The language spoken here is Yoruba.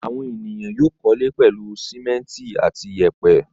Àwọn ènìyàn yóò kọ́lé pẹ̀lú sìmẹ́ńtì àti ìyẹ̀pẹ̀.